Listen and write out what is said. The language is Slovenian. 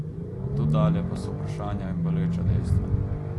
Od tu dalje pa so vprašanja in boleča dejstva.